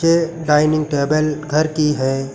ये dining table घर की है।